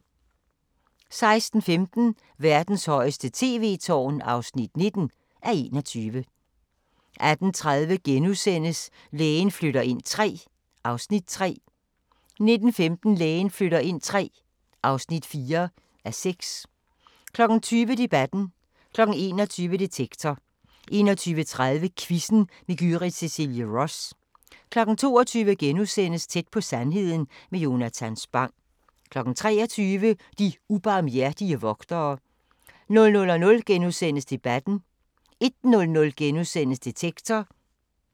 16:15: Verdens højeste tv-tårn (19:21) 18:30: Lægen flytter ind III (3:6)* 19:15: Lægen flytter ind III (4:6) 20:00: Debatten 21:00: Detektor 21:30: Quizzen med Gyrith Cecilie Ross 22:00: Tæt på sandheden med Jonatan Spang * 23:00: De ubarmhjertige vogtere 00:00: Debatten * 01:00: Detektor *